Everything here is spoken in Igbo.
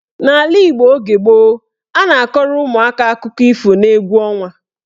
N'ala Igbo oge gboo, a na-akọrọ ụmụaka akụkọ ifo n'egwu ọnwa.